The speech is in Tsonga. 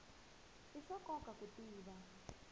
i swa nkoka ku tiva